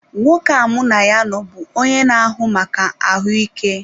Nwoke a mụ na ya nọ bụ onye na-ahụ maka ahụike.